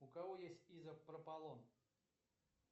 у кого есть изопропалон